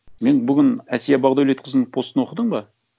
мен бүгін әсия бақдәулетқызының постын оқыдың ба